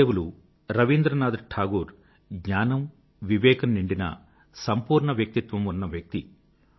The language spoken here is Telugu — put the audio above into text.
గురుదేవులు రవీంద్రనాథ్ టాగూర్ జ్ఞానము వివేకము నిండిన సంపూర్ణ వ్యక్తిత్వం ఉన్న వ్యక్తి